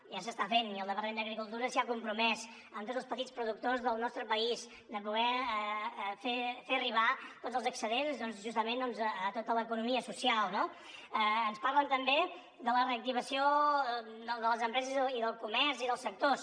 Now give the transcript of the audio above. ja s’està fent i el departament d’agricultura s’ha compromès amb tots els petits productors del nostre país a poder fer arribar tots els excedents justament a tota l’economia social no ens parlen també de la reactivació de les empreses i del comerç i dels sectors